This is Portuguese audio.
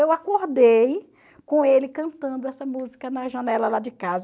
Eu acordei com ele cantando essa música na janela lá de casa.